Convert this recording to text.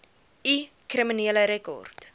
u kriminele rekord